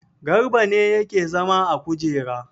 Garba ne yake zama a kujera.